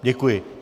Děkuji.